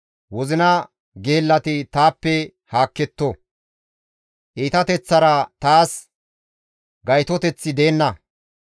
Wozina geellati taappe haakketto; iitateththara taas gaytoteththi deenna.